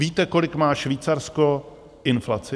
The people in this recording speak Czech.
Víte, kolik má Švýcarsko inflaci?